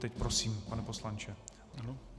Teď prosím, pane poslanče.